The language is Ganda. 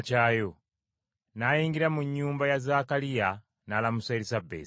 N’ayingira mu nnyumba ya Zaakaliya n’alamusa Erisabesi.